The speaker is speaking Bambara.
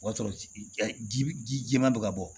O y'a sɔrɔ ji jɛman bɛ ka bɔ